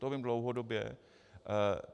To vím dlouhodobě.